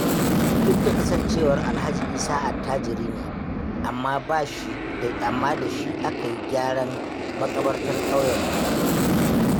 Duk da kasancewar Alhaji Isa attajiri ne, amma da shi aka yi gyaran maƙabartar ƙauyenmu.